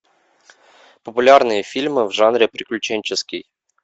популярные фильмы в жанре приключенческий